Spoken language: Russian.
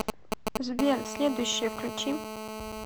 сбер следующее включи